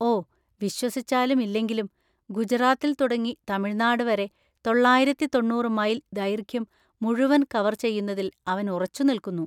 ഓ, വിശ്വസിച്ചാലും ഇല്ലെങ്കിലും, ഗുജറാത്തിൽ തുടങ്ങി തമിഴ്‌നാട് വരെ തൊള്ളായിരത്തി തൊണ്ണൂറ് മൈൽ ദൈർഘ്യം മുഴുവൻ കവർ ചെയ്യുന്നതിൽ അവൻ ഉറച്ചുനിൽക്കുന്നു.